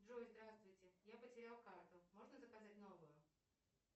джой здравствуйте я потерял карту можно заказать новую